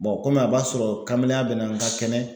o kɔmi a b'a sɔrɔ kamalenya bina an ga kɛnɛ